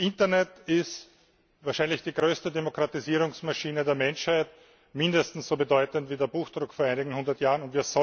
Das Internet ist wahrscheinlich die größte Demokratisierungsmaschine der Menschheit, mindestens so bedeutend wie der Buchdruck vor einigen hundert Jahren.